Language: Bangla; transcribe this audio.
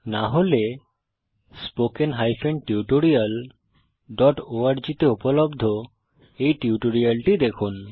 না হলে spoken tutorialঅর্গ তে উপলব্ধ এই টিউটোরিয়ালটি দেখুন